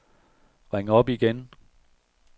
ring op igen